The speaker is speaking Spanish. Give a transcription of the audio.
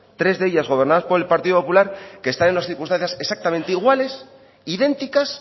tres de ellas gobernadas por el partido popular que están en unas circunstancias exactamente iguales idénticas